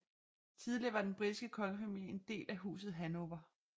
Tidligere var den britiske kongefamilie en del af Huset Hannover